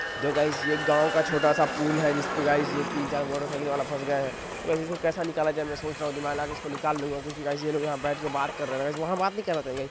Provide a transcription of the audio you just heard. दो गाइस ये एक गाव का छोटा - सा पुल है जिसपे गाइस ये तीन चार मोटरसाइकिल वाला फस गए हैं तो गाइस इसको केसे निकाला जाये मे सोच रहा हूं दिमाग लागे उसको निकाल लूंगा क्युकी गाइस ये लोग यहां बैठ के बात कर रहैं है गाइस वहाँ बात नहीं कर रहैं थे।